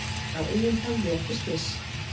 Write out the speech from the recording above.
Hélt á eigin höfði eftir slys